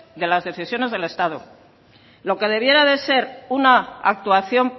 de las decisiones del estado lo que debiera de ser una actuación